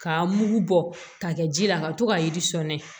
K'a mugu bɔ k'a kɛ ji la ka to ka yiri sɔɲɛnɛ